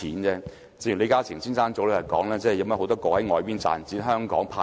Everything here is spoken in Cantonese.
正如李嘉誠兩天前說，有很多業務是在國外賺錢，香港派息。